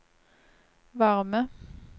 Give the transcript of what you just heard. varme